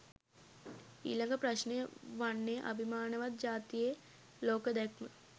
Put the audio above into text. ඊළඟ ප්‍රශ්ණය වන්නේ අභිමානවත් ජාතියේ ලෝක දැක්ම